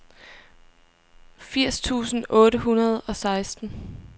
firs tusind otte hundrede og seksten